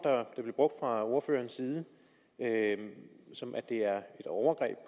fra ordførerens side det er et overgreb